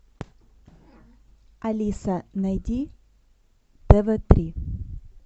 алиса найди тв три